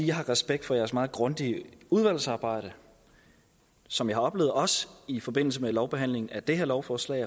jeg har respekt for jeres meget grundige udvalgsarbejde som jeg har oplevet også i forbindelse med lovbehandlingen af det her lovforslag